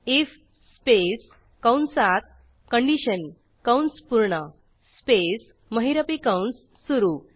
if space कंसात condition कंस पूर्णspace महिरपी कंस सुरू